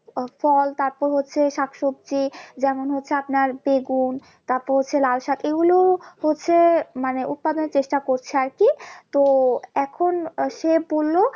আহ ফল তারপর হচ্ছে শাকসবজি যেমন হচ্ছে আপনার বেগুন তারপর হচ্ছে লাল শাক এগুলো হচ্ছে মানে উৎপাদনের চেষ্টা করছে আর কি তো এখন আহ সে বললো